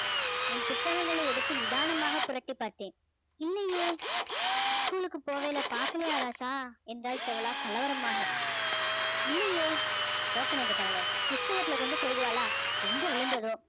என் புத்தகங்களை எடுத்து நிதானமாக புரட்டி பார்த்தேன் இல்லையே school க்கு போகையில பாக்கலையா ராசா என்றாள் செவளா கலவரமாக இல்லையே போக்கணம் கெட்டவளே புஸ்தகத்துல கொண்டு சொருகுவாளா எங்க விழுந்ததோ